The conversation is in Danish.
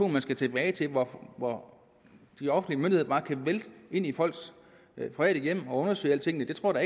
man skal tilbage til hvor de offentlige myndigheder bare kan vælte ind i folks private hjem og undersøge alting det tror